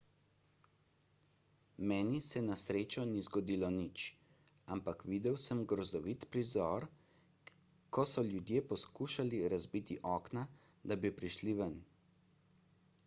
meni se na srečo ni zgodilo nič ampak videl sem grozovit prizor ko so ljudje poskušali razbiti okna da bi prišli ven